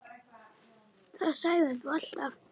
Það sagðir þú alltaf.